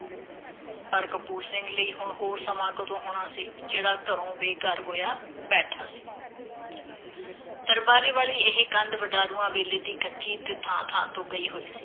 ਪਰ ਕਪੂਰ ਸਿੰਘ ਲਈ ਹੁਣ ਹੋਰ ਸਮਾਂ ਕਦੋਂ ਹੋਣਾ ਸੀ, ਜਿਹੜਾ ਘਰੋਂ ਬੇਘਰ ਹੋਇਆ ਬੈਠਾ ਸੀ। ਦਰਬਾਰੇ ਵਾਲੀ ਇਹ ਕੰਧ ਵਡਾਰੂਆਂ ਵੇਲੇ ਦੀ ਕੱਚੀ ਤੇ ਥਾਂ-ਥਾਂ ਤੋਂ ਗਈ ਹੋਈ ਸੀ।